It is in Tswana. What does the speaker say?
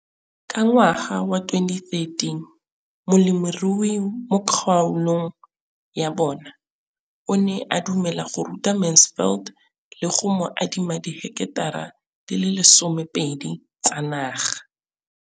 Ka ngwaga wa 2013, molemirui mo kgaolong ya bona o ne a dumela go ruta Mansfield le go mo adima di heketara di le 12 tsa naga.